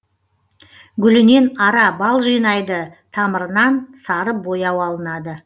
гүлінен ара бал жинайды тамырынан сары бояу алынады